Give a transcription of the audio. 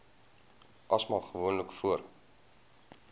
asma gewoonlik voor